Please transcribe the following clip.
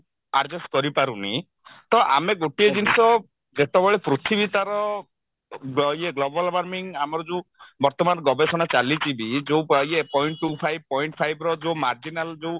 adjust କରିପାରୁନି ତ ଆମେ ଗୋଟିଏ ଜିନିଷ ଯେତେବେଳେ ପୃଥିବୀ ତାର ଅ ଇଏ global warming ଆମର ଯଉ ବର୍ତମାନ ଗବେଷଣା ଚାଲିଛି ଯଉ ଇଏ point two five point five ର ଯଉ marginal ଯଉ